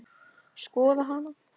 Skoða hana?